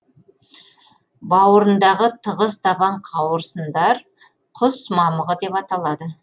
бауырындағы тығыз табан қауырсындар құс мамығы деп аталады